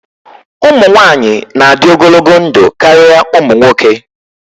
Ụmụ nwanyị na-adị ogologo ndụ karịa ụmụ nwoke.